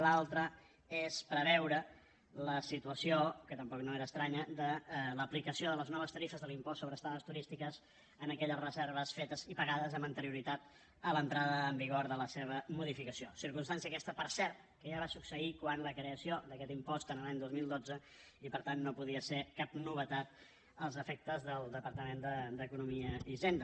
l’altre és preveure la situació que tampoc no era estranya de l’aplicació de les noves tarifes de l’impost sobre estades turístiques en aquelles reserves fetes i pagades amb anterioritat a l’entrada en vigor de la seva modificació circumstància aquesta per cert que ja va succeir quan es va crear aquest impost l’any dos mil dotze i per tant no podia ser cap novetat als efectes del departament d’economia i hisenda